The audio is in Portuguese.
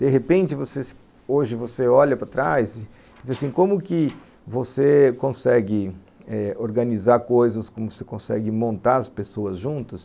De repente, você... hoje, você olha para trás e diz assim, como que você consegue, eh... organizar coisas, como você consegue montar as pessoas juntos?